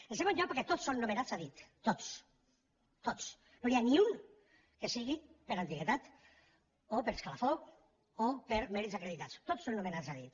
en segon lloc perquè tots són nomenats a dit tots tots no n’hi ha ni un que ho sigui per antiguitat o per escalafó o per mèrits acreditats tots són nomenats a dit